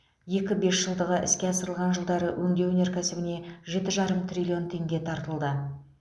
екі бесжылдығы іске асырылған жылдары өңдеу өнеркәсібіне жеті жарым триллион теңге тартылды